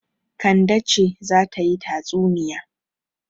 Kande ce za ta yi tatsunniya.